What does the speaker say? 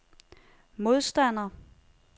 modstander